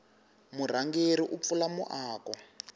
murhangeri u pfula muako